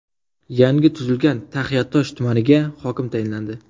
Yangi tuzilgan Taxiatosh tumaniga hokim tayinlandi.